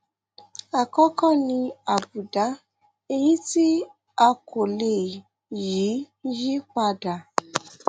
àkọkọ ni àbùdá èyí tí a kò lè yí yí padà